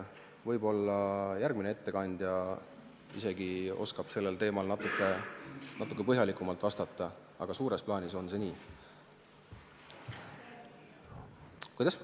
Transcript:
Võib-olla järgmine ettekandja oskab sel teemal isegi natuke põhjalikumalt vastata, aga suures plaanis on see nii.